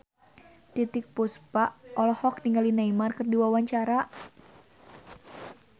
Titiek Puspa olohok ningali Neymar keur diwawancara